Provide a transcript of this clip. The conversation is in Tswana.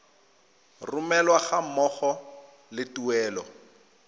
romelwa ga mmogo le tuelo